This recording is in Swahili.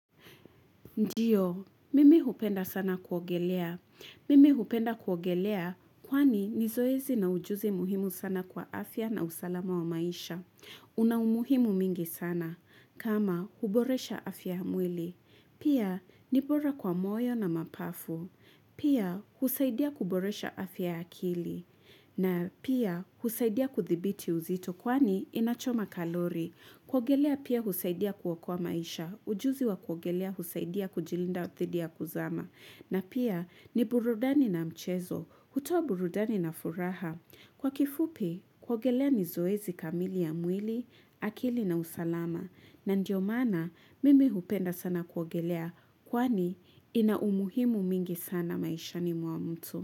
Ndiyo, mimi hupenda sana kuogelea. Mimi hupenda kuogelea kwani ni zoezi na ujuzi muhimu sana kwa afya na usalama wa maisha. Una umuhimu mingi sana. Kama, huboresha afya ya mwili. Pia, ni bora kwa moyo na mapafu. Pia, husaidia kuboresha afya ya akili. Na pia, husaidia kuthibiti uzito kwani inachoma kalori. Kuogelea pia husaidia kuokoa maisha, ujuzi wa kuogelea husaidia kujilinda dhidi ya kuzama. Na pia ni burudani na mchezo, hutoa burudani na furaha. Kwa kifupi, kuogelea ni zoezi kamili ya mwili, akili na usalama. Na ndio maana mimi hupenda sana kuogelea, kwani ina umuhimu mingi sana maishani mwa mtu.